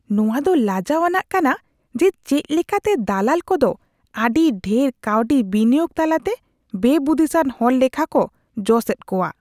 ᱱᱚᱶᱟ ᱫᱚ ᱞᱟᱡᱟᱣ ᱟᱱᱟᱜ ᱠᱟᱱᱟ ᱡᱮ ᱪᱮᱫ ᱞᱮᱠᱟ ᱛᱮ ᱫᱟᱞᱟᱞ ᱠᱚᱫᱚ ᱟᱹᱰᱤ ᱰᱷᱮᱨ ᱠᱟᱹᱣᱰᱤ ᱵᱤᱱᱤᱭᱳᱜ ᱛᱟᱞᱟᱛᱮ ᱵᱮᱼᱵᱩᱫᱤᱥᱟᱱ ᱦᱚᱲ ᱞᱮᱠᱷᱟ ᱠᱚ ᱡᱚᱥ ᱮᱫ ᱠᱚᱣᱟ ᱾